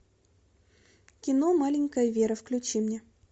кино маленькая вера включи мне